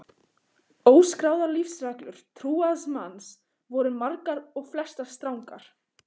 Óskráðar lífsreglur trúaðs manns voru margar og flestar strangar.